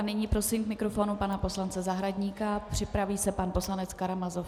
A nyní prosím k mikrofonu pana poslance Zahradníka, připraví se pan poslanec Karamazov.